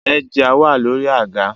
The headgear is on the chair